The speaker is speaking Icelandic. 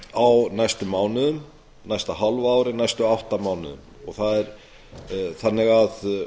á næstu mánuðum næsta hálfa ári næstu átta mánuðum þannig að